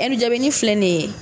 ni filɛ ni ye